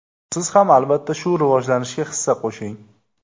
Siz ham albatta shu rivojlanishga hissa qo‘shing!